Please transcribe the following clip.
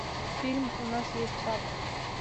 фильм у нас есть папа